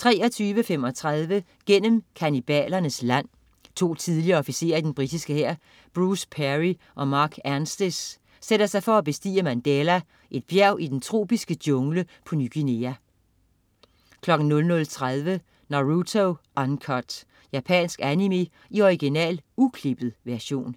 23.35 Gennem kannibalernes land. To tidligere officerer i den britiske hær, Bruce Parry og Mark Anstice, sætter sig for at bestige Mandela, et bjerg i den tropiske jungle på Ny Guinea 00.30 Naruto Uncut. Japansk animé i original, uklippet version